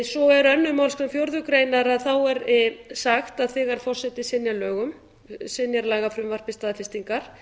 svo er önnur málsgrein fjórðu grein að þá er sagt að þegar forseti synjar lögum synjar lagafrumvarpi staðfestingar